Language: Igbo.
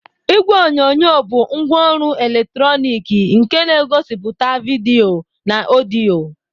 Igwe onyonyo bụ ngwaọrụ eletrọnịkị nke na-egosipụta vidiyo na ọdịyo.